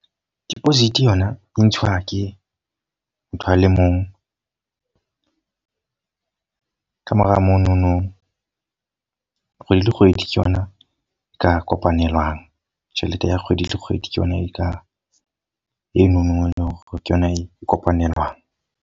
Deposit yona e ntshuwa ke motho a le mong. ka mora mo no no, kgwedi le kgwedi ke yona e ka kopanelwang. Tjhelete ya kgwedi le kgwedi ke yona e ka e no no ke yona e kopanelang.